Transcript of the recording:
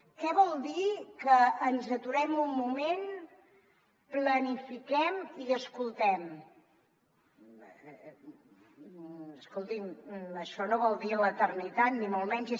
què vol dir que ens aturem un moment planifiquem i escoltem escolti’m això no vol dir l’eternitat ni molt menys